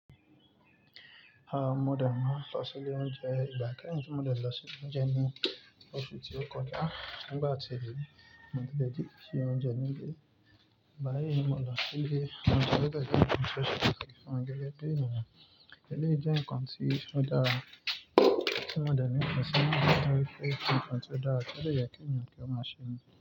Ah, mo dẹ̀ máa n lọ sí ilé oúnjẹ ìgbà kẹ́yìn tí mo dẹ lọ sí ilé oúnjẹ ní oṣù tí ó kọjá. Ah, nígbà tí mo dé nii oúnjẹ nílé, báyìí ni mo lọ sílé oúnjẹ, lẹ́gbẹ́ ilé oúnjẹ gẹ́gẹ́ bí ènìyàn. Eléyìí jẹ́ ǹkan tí ó dára tí mo dẹ̀ ní pẹ̀sẹ̀ mọ́ bí ọtí pàtó dára, kí ó le yẹ kí ènìyàn kí ó máa ṣe nii.